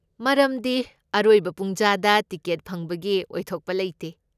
ꯃꯔꯝꯗꯤ ꯑꯔꯣꯏꯕ ꯄꯨꯡꯖꯥꯗ ꯇꯤꯀꯦꯠ ꯐꯪꯕꯒꯤ ꯑꯣꯏꯊꯣꯛꯄ ꯂꯩꯇꯦ꯫